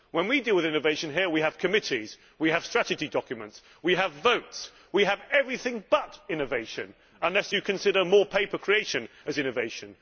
When we deal with innovation here, we have committees, we have strategy documents, we have votes, we have everything but innovation, unless you consider more paper creation to be innovation.